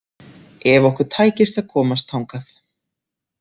Ef okkur tækist að komast þangað.